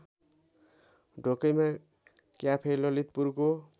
Dhokaima cafe ललितपुरको